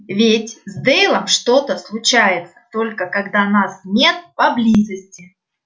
ведь с дейвом что-то случается только когда нас нет поблизости